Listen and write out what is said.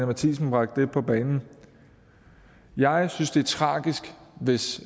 matthiesen bragte på banen jeg synes det er tragisk hvis